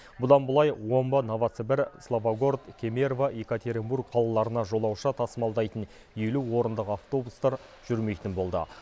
бұдан былай омбы новосібір славогород кемерово екатеринбург қалаларына жолаушы тасымалдайтын елу орындық автобустар жүрмейтін болды